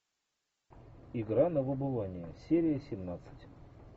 игра на выбывание серия семнадцать